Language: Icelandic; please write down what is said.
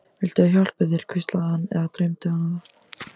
Viltu ég hjálpi þér, hvíslaði hann- eða dreymdi hana það?